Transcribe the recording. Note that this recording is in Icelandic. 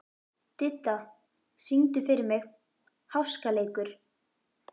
Didda, syngdu fyrir mig „Háskaleikur“.